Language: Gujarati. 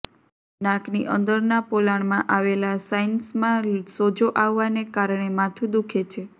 નાકની અંદરના પોલાણમાં આવેલા સાઇનસમાં સોજો આવવાને કારણે માથું દુખે છે